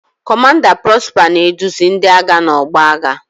Kọmanda Prosper na-eduzi ndị agha n'ọgbọ agha.